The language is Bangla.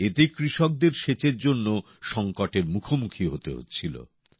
এতে কৃষকদের সেচের জন্য সংকটের মুখোমুখি হতে হচ্ছিল